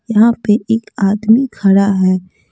यहां पे एक आदमी खड़ा है।